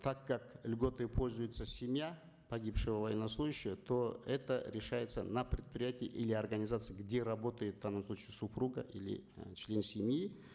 так как льготой пользуется семья погибшего военнослужащего то это решается на предприятии или организации где работает в данном случае супруга или э член семьи